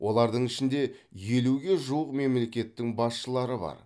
олардың ішінде елуге жуық мемлекеттің басшылары бар